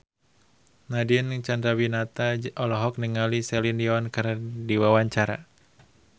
Nadine Chandrawinata olohok ningali Celine Dion keur diwawancara